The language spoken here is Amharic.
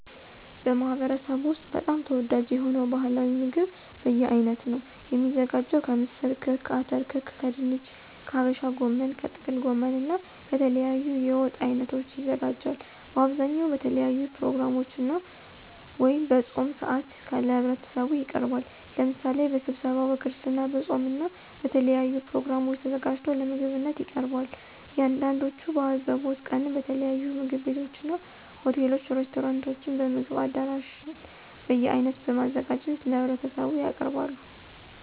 በማህበረሰቡ ወስጥ በጣም ተወዳጅ የሆነው ባህላዊ ምግብ በየአይነት ነው። የሚዘጋጀው ከምስር ክክ፣ አተር ክክ ከድንች፣ ከሀበሻ ጎመን፣ ከጥቅል ጎመን እና ከተለያዩ የወጥ አይነቶች ይዘጋጃል። በአብዛኛው በተለያዩ ፕሮግራሞች ወይም በፆም ሰአት ለህብረተሰቡ ይቀርባል። ለምሳሌ በስብሰባው፣ በክርስትና፣ በፆም እና በተለያዩ ፕሮግራሞች ተዘጋጅቶ ለምግብነት ይቀርባል። አንዳንዶቹም በአዘቦት ቀንም በተለያዩ ምግብ ቤቶችና፣ ሆቴሎች፣ ሬስቶራንቶችም፣ በምግብ አዳራሽ በየአይነት በማዘጋጀት ለህብረተሰቡ ያቀርባሉ።